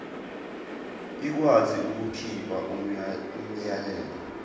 ikwazi ukukhipha umyalelo